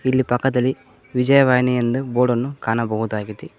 ಇಲ್ಲಿ ಪಕ್ಕದಲ್ಲಿ ವಿಜಯವಾಣಿ ಎಂದು ಬೋರ್ಡನ್ನು ಕಾಣಬಹುದಾಗಿದೆ.